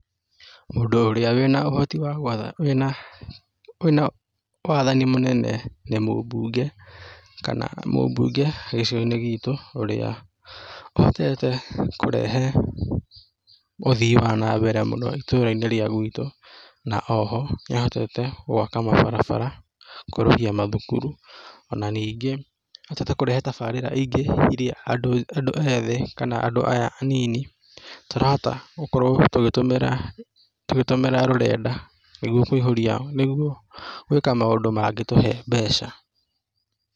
Mũndũ ũrĩa wĩna ũhoti wa gwatha, wĩna, wĩna wathani mũnene nĩ mũmbunge, kana mũmbunge gĩcigo-inĩ gitũ, ũrĩa ũhotete kũrehe uthiĩ wa na mbere mũno itũra-inĩ rĩa gwitũ, na oho, nĩ ahotete gwaka mabarabara, kwerũhia mathukuru, o na ningĩ, nĩ ahotete kürehe tabarĩra ingĩ iria andũ ethĩ, kana andũ aya anini tũrahota gũkorwo tũgĩtũmĩra tũgĩtũmĩra rũrenda nĩguo kũihũria, nĩguo gwĩka maũndũ mangĩtũhe mbeca.